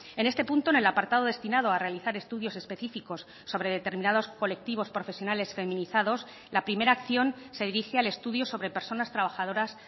en este punto en el apartado destinado a realizar estudios específicos sobre determinados colectivos profesionales feminizados la primera acción se dirige al estudio sobre personas trabajadoras